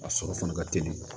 A sɔrɔ fana ka teli